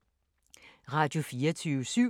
Radio24syv